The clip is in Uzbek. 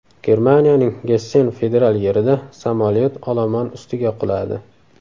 Germaniyaning Gessen federal yerida samolyot olomon ustiga quladi.